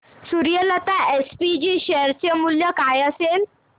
Suryalata SPG share चे मूल्य काय असेल